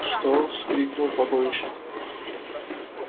что вскрикнул погонщик